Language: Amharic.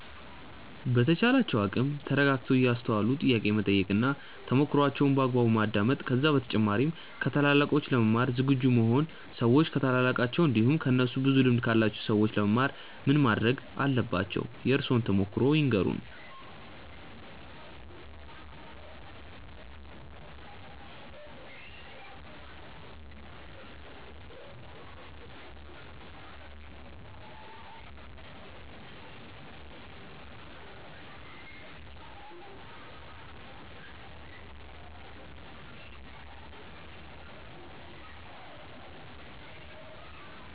በተቻላቸው አቅም ተረጋግተው እያስተዋሉ ጥያቄ መጠየቅ እና ተሞክሮዋቸውን በአግባቡ ማዳመጥ ከዛ በተጨማሪ ከታላላቆች ለመማር ዝግጁ መሆን ሰዎች ከታላላቃቸው እንዲሁም ከእነሱ ብዙ ልምድ ካላቸው ሰዎች ለመማር ምን ማረግ አለባቸው? የእርሶን ተሞክሮ ይንገሩን? ሰዎች ከታላላቃቸው እንዲሁም ከእነሱ ብዙ ልምድ ካላቸው ሰዎች ለመማር ምን ማረግ አለባቸው? የእርሶን ተሞክሮ ይንገሩን? ሰዎች ከታላላቃቸው እንዲሁም ከእነሱ ብዙ ልምድ ካላቸው ሰዎች ለመማር ምን ማረግ አለባቸው? የእርሶን ተሞክሮ ይንገሩን? ሰዎች ከታላላቃቸው እንዲሁም ከእነሱ ብዙ ልምድ ካላቸው ሰዎች ለመማር ምን ማረግ አለባቸው? የእርሶን ተሞክሮ ይንገሩን?